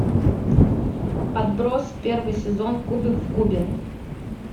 отбросы первый сезон кубик в кубе